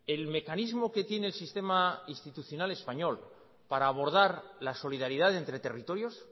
el mecanismo que tiene el sistema institucional español para abordar la solidaridad entre territorios